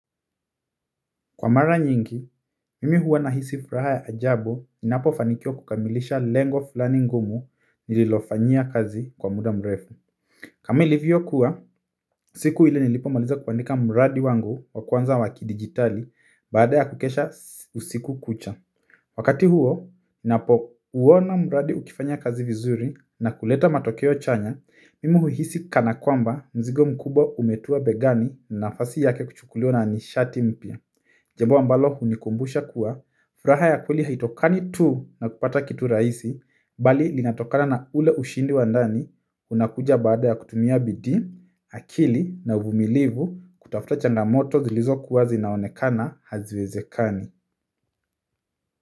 Kwa mara nyingi, mimi huwa na hisi furaha ya ajabu ninapo fanikiwa kukamilisha lengo fulani ngumu nililofanyia kazi kwa muda mrefu. Kama ilivyo kuwa siku ile nilipo maliza kuandika mradi wangu wa kwanza wa kidigitali baada ya kukesha usiku kucha wakati huo, ninapo uona mradi ukifanya kazi vizuri na kuleta matokeo chanya, mimi huhisi kana kwamba mzigo mkubwa umetua begani na nafasi yake kuchukuliwa na nishati mpya. Jambo ambalo hunikumbusha kuwa furaha ya kweli haitokani tu na kupata kitu rahisi, bali linatokana na ule ushindi wa ndani unakuja baada ya kutumia bidii, akili na uvumilivu kutafuta changamoto zilizokuwa zinaonekana haziwezekani.